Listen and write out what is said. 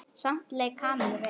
Samt leið Kamillu vel.